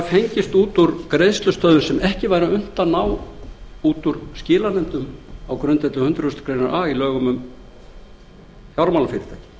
fengist út úr greiðslustöðvun sem ekki væri unnt að ná út úr skilanefndum á grundvelli hundrað greinar a í lögum um fjármálafyrirtæki